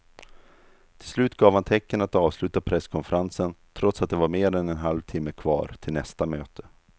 Till slut gav han tecken att avsluta presskonferensen trots att det var mer än en halvtimme kvar till nästa möte.